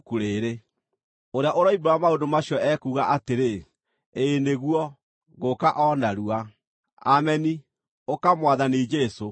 Ũrĩa ũroimbũra maũndũ macio ekuuga atĩrĩ, “Ĩĩ nĩguo, ngũũka o narua.” Ameni. Ũka, Mwathani Jesũ!